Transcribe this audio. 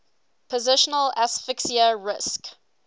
positional asphyxia risk